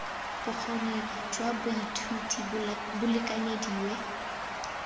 bokgoni jwa baithuti bo lekanyediwe